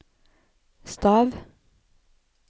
stav